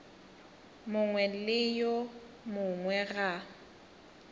mongwe le yo mongwe ga